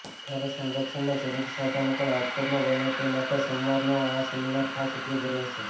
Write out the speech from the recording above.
ત્યારે સંરક્ષણના જરૂરી સાધનો પણ રાજકોટમાં બને તે માટે સોમવારનો આ સેમિનાર ખાસ ઉપયોગી રહેશે